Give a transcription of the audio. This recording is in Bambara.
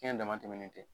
Fiɲɛ dama tɛmɛlen tɛ